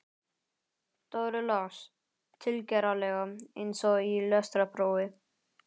Dóri las, tilgerðarlega eins og í lestrarprófi